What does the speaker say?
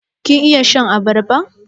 Kin iya shan abarba?